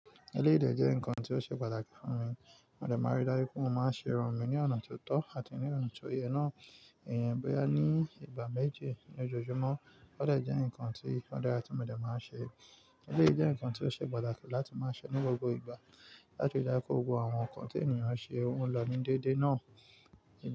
Eléyìí dẹ̀ jẹ́ nǹkan tí ó ṣe pàtàkì fún mi. Mo dé ma n rí dá pé mo máa ń ṣe irun mi ní ọ̀nà tó tọ́ àti ní ọ̀nà tó yẹ náà. Ǹ ó yẹn, bóyá ní ìgbà méje lójoojúmọ́, ó dè jẹ́ nǹkan tí ó dára tí mo bá máa ń ṣe. Eléyìí jẹ́ nǹkan tí ó ṣe pàtàkì láti máa ṣẹ́ ní gbogbo ìgbà láti rí dájú pé kó gbogbo àwọn nǹkan tí ènìyàn ṣe o lọ́ni déédéé náà.